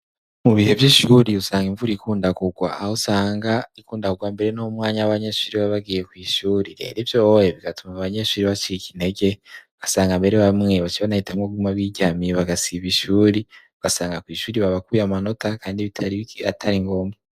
mu bihe by'ishuri usanga imvura ikundakugwa aho usanga ikundakugwa mbere n'umwanya w'abanyeshuri babagiye ku ishuri rero ibyo oye bigatuma banyeshuri baciyiki inege gasanga mbere bamwe bas banahitamwo gumwa b'iryamiye bagasibakwishure ugasanga ku ishuri babakuye amanota kandi bitaratari ngomba